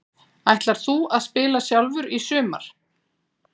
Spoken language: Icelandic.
Ætlar þú að spila sjálfur í sumar?